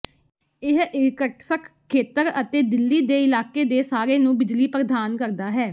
ਇਹ ਇਰ੍ਕ੍ਟ੍ਸ੍ਕ ਖੇਤਰ ਅਤੇ ਦਿਲੀ ਦੇ ਇਲਾਕੇ ਦੇ ਸਾਰੇ ਨੂੰ ਬਿਜਲੀ ਪ੍ਰਦਾਨ ਕਰਦਾ ਹੈ